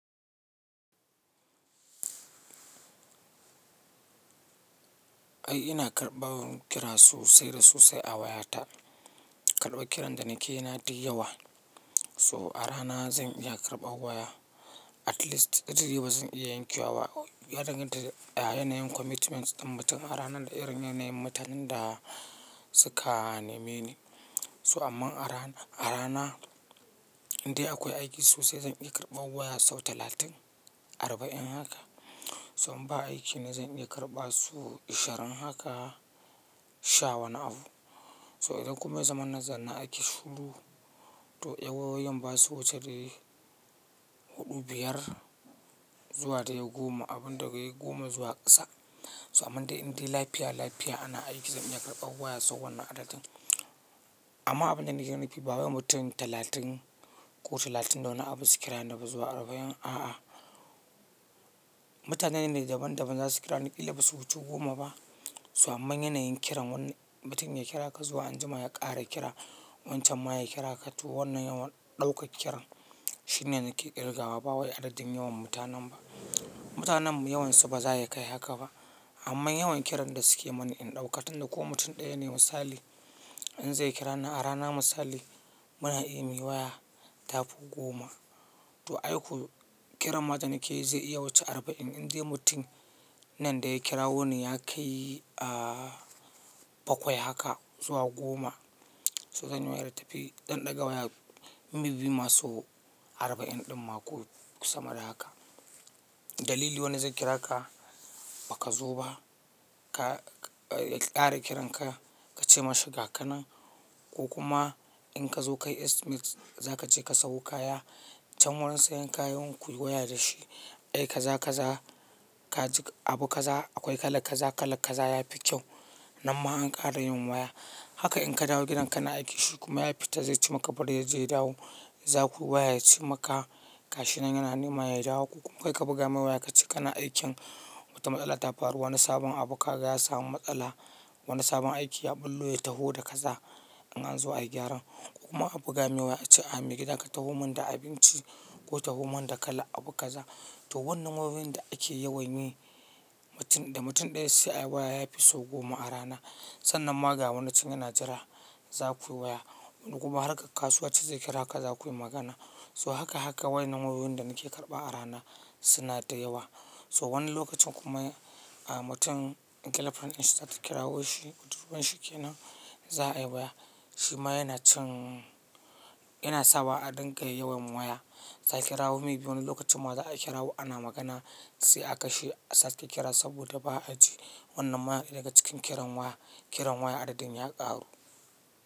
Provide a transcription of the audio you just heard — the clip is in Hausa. Ai ina karɓawa kirasu sai da su sai a wayata. Karɓa kiran da nake na dai yawa. So a rana zan iya karɓa waya at least ɗari biyu ba zan iya yankewa ba. Yadanganta da yanayin commitment ɗin mutum a rana da irin yanayin mutanen da suka neme ni. So amma a rana, a rana indai akwai aiki sosai zan iya karɓa waya sau talatin, arba'in haka. So in ba aiki na zan iya karɓa su ashirin haka, sha wani abu. So idan kuma zaman na zanna aiki shuru to yawawayen basu wuce dai huɗu, biyar zuwa dai goma, abin daga goma zuwa ƙasa. So amma inda lafiya lafiya ana aiki zan iya karɓa waya sau wannan adadin. Amma abunda nake nufi ba wai mutum talatin ko talatin da wani abu su kira na ba zuwa arba'in a'a. Mutanen ne daban daban za su kira ni illa basu wuce goma ba. So amma yanayin kiran wanne mutum ya kira ka zuwa anjima ya ƙare kira, wancan ma ya kira ka tu wannan yawan ɗauka kiran shi ne nake ƙirga wa ba wai adadin yawan mutanen ba. Mutanen yawansu ba za su iya kai haka ba. Amma yawan kiran da suke mani in ɗauka tunda ko mutum ɗaya ne misali in zai kira ni a rana misali muna iya mi waya tafi goma. To ai ko kiran mata nake yi zai iya wuce arba'in indai mutum nan da ya kira woni ya kai a bakwai haka zuwa goma. So sani wayar tafi ɗan ɗaga waya mibi masu arba'in ɗin mako sama da haka. Dalili wani zai kira ka ba ka zo ba, ka ƙara kiran ka, ka ce mashi ga kanin ko kuma in ka zo kai estimate za ka ce ka samu kaya. Can wurin sayan kayan ku yi waya da shi. Ai ka za ka za ka ji abu kaza akwai kala kaza, kala kaza yafi kyau. Nan ma an ƙara yin waya. Haka in ka dawo gidan ka na aiki shi kuma ya fita zai ci maka bari yanzai ya dawo. Za ku yi waya ya ci maka kashi nan yana nema ya dawo ko kuma kai ka buga mishi waya ka ce kana aikin wata matsala ta faru wani sabon abu ka ga ya samu matsala. Wani sabon aiki ya ɓullo ya taho da kaza in an zo a yi gyaran ko kuma a buga mishi waya a ce a mi gidan ka taho mun da abinci ko taho mun da kala abu kaza. To wannan wayoyin da ake yawan yi mutum da mutum ɗaya sai a yi waya yafi sau goma a rana. Sannan magawanci yana jira za ku yi waya ko kuma harka kasuwa ce zai kira ka za ku yi magana. So haka haka wai nan wayoyin da nake karɓa a rana suna da yawa. So wani lokacin kuma a mutum in girlfriend in shita ta kirawo shi, cuturunshi kenan za a yi waya. Shi ma yana cin yana sawa a ɗinka yawan waya. Za ki kirawo me biyun lokacin ma za a kirawo ana magana sai aka shi a sake kira saboda ba a ji. Wannan ma daga cikin kiran waya, kiran waya adadin ya ƙaru.